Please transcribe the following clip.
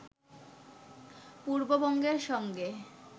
পূর্ববঙ্গের সঙ্গে